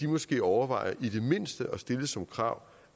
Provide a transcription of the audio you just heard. måske overvejer i det mindste at stille som krav